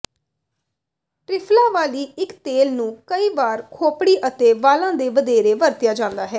ਟ੍ਰਿਫਲਾ ਵਾਲੀ ਇੱਕ ਤੇਲ ਨੂੰ ਕਈ ਵਾਰ ਖੋਪੜੀ ਅਤੇ ਵਾਲਾਂ ਤੇ ਵਧੇਰੇ ਵਰਤਿਆ ਜਾਂਦਾ ਹੈ